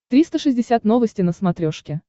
триста шестьдесят новости на смотрешке